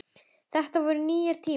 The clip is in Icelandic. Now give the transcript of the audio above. Þetta voru nýir tímar.